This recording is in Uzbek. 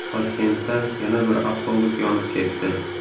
Toshkentda yana bir avtobus yonib ketdi.